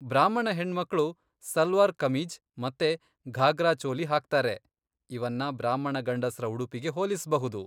ಬ್ರಾಹ್ಮಣ ಹೆಣ್ಮಕ್ಳು ಸಲ್ವಾರ್ ಕಮೀಜ್ ಮತ್ತೆ ಘಾಗ್ರಾ ಚೋಲಿ ಹಾಕ್ತಾರೆ, ಇವನ್ನ ಬ್ರಾಹ್ಮಣ ಗಂಡಸ್ರ ಉಡುಪಿಗೆ ಹೋಲಿಸ್ಬಹುದು.